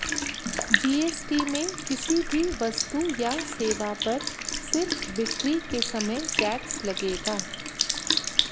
GST में किसी भी वस्तु या सेवा पर सिर्फ बिक्री के समय टैक्स लगेगा